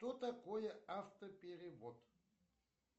что такое автоперевод